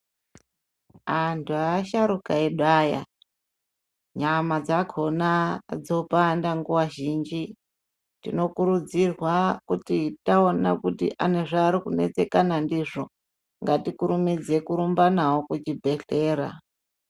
Antu nevasharukwa edu aya nyama dzakona dzopanda nguva zhinji tinokurudzirwa kuti taona kuti anezvaari kuneseka ndizvo tinokurudzirwa kurumba nawo kuchbhedhlera.